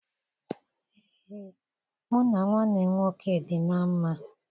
Ee, mụ na nwanne m nwoke dị na mma